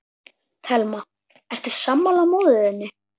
Telma: Ertu sammála móður þinni?